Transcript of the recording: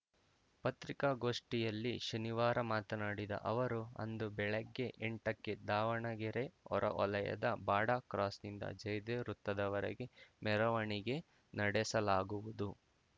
ಪತ್ರಿಕಾಗೋಷ್ಠಿಯಲ್ಲಿ ಶನಿವಾರ ಮಾತನಾಡಿದ ಅವರು ಅಂದು ಬೆಳಿಗ್ಗೆ ಎಂಟಕ್ಕೆ ದಾವಣಗೆರೆ ಹೊರವಲಯದ ಬಾಡಾ ಕ್ರಾಸ್‌ನಿಂದ ಜಯದೇವ ವೃತ್ತದವರೆಗೆ ಮೆರವಣಿಗೆ ನಡೆಸಲಾಗುವುದು